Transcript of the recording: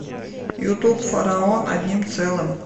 ютуб фараон одним целым